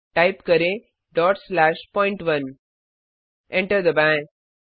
type करें dot slash पॉइंट1 enter दबाएँ